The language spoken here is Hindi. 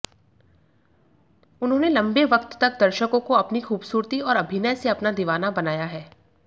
उन्होंने लंबे वक्त तक दर्शकों को अपनी खूबसूरती और अभिनय से अपना दीवाना बनाया है